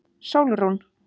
Sólrún